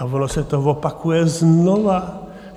Ale ono se to opakuje znova.